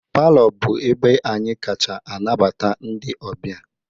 Palọ bụ ebe anyị kacha anabata ndị ọbịa